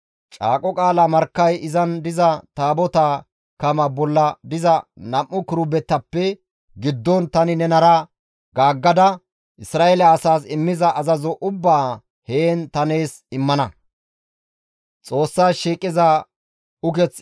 Caaqo qaala markkay izan diza Taabotaa kamaa bolla diza nam7u kirubetappe giddon tani nenara gaaggada Isra7eele asaas immiza azazo ubbaa heen ta nees immana.